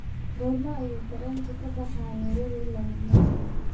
goorma ayuu tareenku ka baxaa nairobi ilaa mombasa